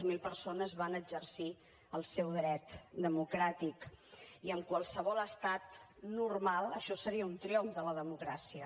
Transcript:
zero persones van exercir el seu dret democràtic i en qualsevol estat normal això seria un triomf de la democràcia